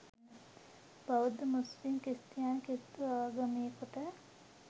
බෞද්ධ මුස්ලිම් ක්‍රිස්තියානි කිසිදු ආගමිකයකුට